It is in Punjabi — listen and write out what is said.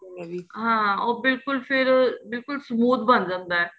ਹਾਂ ਉਹ ਬਿਲਕੁਲ ਫ਼ਿਰ ਬਿਲਕੁਲ smooth ਬਣ ਜਾਂਦਾ ਏ